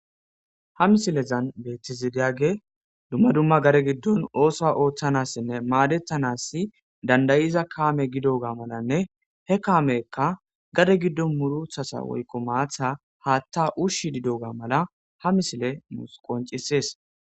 ha misilezan beetizidiyage dumma dumma gare giddon oosoa ooththanassinne maadettanassi dandayiza kaame gidoga malanne he kaamekka gare giddon muruthasa woykko maatha haatta ushshi didoga mala ha misile mus qoncisees